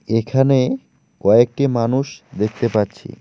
এখানে কয়েকটি মানুষ দেখতে পাচ্ছি।